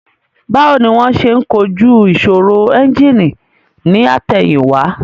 Báwo ni wón ṣe ń kojú ìṣòro ẹ́ńjìnì ní àtẹ̀yìn wá